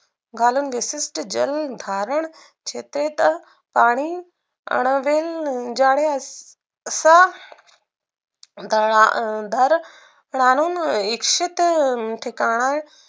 घालून विशीष्ट जलधारण क्षेत्रत पाणी आणवील जाण्यास सह दर राहनून इच्छित ठिकाण